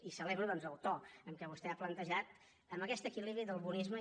i celebro doncs el to amb què vostè ho ha plantejat amb aquest equilibri del bonisme